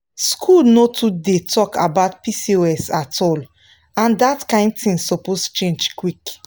school no too dey talk about pcos at all and that kain thing suppose change quick.